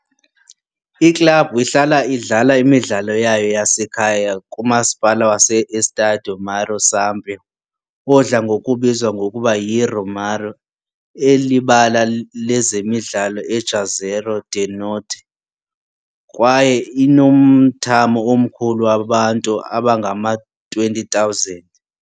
Iklabhu ihlala idlala imidlalo yayo yasekhaya kuMasipala wase-Estádio uMauro Sampaio, odla ngokubizwa ngokuba yiRomeirão, elibala lezemidlalo eJuazeiro do Norte, kwaye inomthamo omkhulu wabantu abangama-20,000.